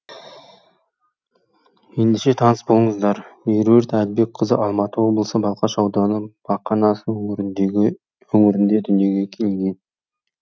ендеше таныс болыңыздар меруерт әлібекқызы алматы облысы балқаш ауданы бақанас өңірінде дүниеге келген